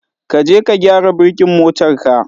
ka je ka gyara birkin motar ka.